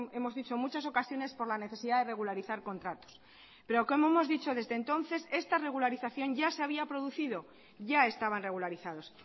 hemos dicho en muchas ocasiones por la necesidad de regularizar contratos pero como hemos dicho desde entonces esta regularización ya se había producido ya estaban regularizados